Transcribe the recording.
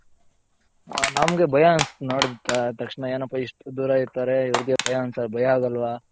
ನಮಗೆ ಭಯ ಅನ್ಸುತ್ತೆ ನೋಡ್ಬಿಟ್ರೇ ತಕ್ಷಣ ಏನಪ್ಪ ಇಷ್ಟು ದೂರ ಇರ್ತಾರೆ ಇವರ್ಗೆ ಭಯ ಅನ್ಸ ಭಯ ಆಗೊಲ್ವ